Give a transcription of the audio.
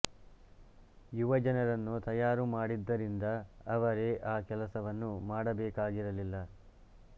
ಯುವ ಜನರನ್ನು ತಯಾರು ಮಾಡಿದ್ದರಿಂದ ಅವರೇ ಆ ಕೆಲಸವನ್ನು ಮಾಡಬೇಕಾಗಿರಲಿಲ್ಲ